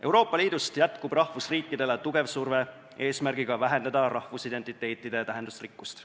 Euroopa Liidus jätkub rahvusriikidele tugeva surve avaldamine, eesmärgiga vähendada rahvusidentiteedi tähendusrikkust.